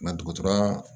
Mɛ dɔgɔtɔrɔya